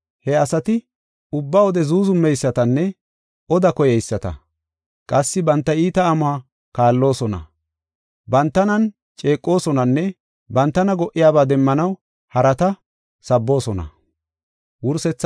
He asati ubba wode zuuzumeysatanne oda koyeyisata. Qassi banta iita amuwa kaalloosona; bantanan ceeqosonanne bantana go77iyabaa demmanaw harata sabboosona.